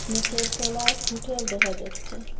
নীচের তলায় হুটেল দেখা যাচ্ছে।